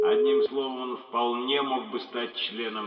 одним словом он вполне мог бы стать членом